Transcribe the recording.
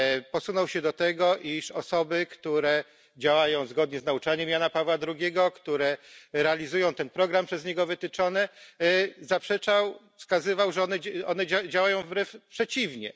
Posunął się do tego, iż osoby, które działają zgodnie z nauczaniem Jana Pawła II, które realizują ten program przez niego wytyczony, wskazywał, że one działają wręcz przeciwnie.